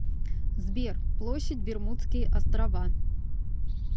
сбер площадь бермудские острова